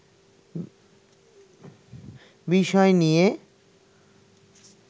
বিষয় নিয়ে